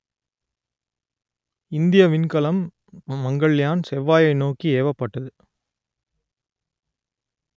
இந்திய விண்கலம் மங்கள்யான் செவ்வாயை நோக்கி ஏவப்பட்டது